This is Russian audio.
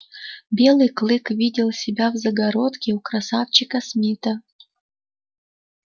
белый клык видел себя в загородке у красавчика смита